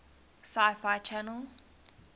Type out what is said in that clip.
sci fi channel